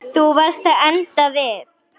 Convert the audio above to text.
Þú varst að enda við.